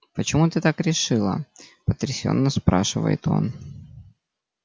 почему ты так решила потрясенно спрашивает он